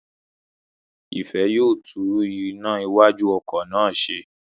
Ìfẹ́ yóò tún iná iwájú ọkọ̀ náà ṣe